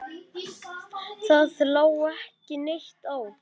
Það lá ekki neitt á.